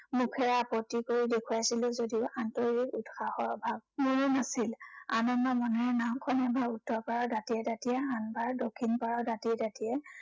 মুখেৰে আপত্তি কৰি দেখুৱাইছিলো যদিও আন্তৰিক উৎসাহৰ অভাৱ মোৰো নাছিল। আনন্দ মনেৰে নাওঁখন এবাৰ উত্তৰ পাৰৰ দাঁতিয়ে দাঁতিয়ে, আনবাৰ দক্ষিণ পাৰৰ দাঁতিয়ে দাঁতিয়ে